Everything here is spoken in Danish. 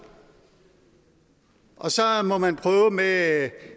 og så må man prøve at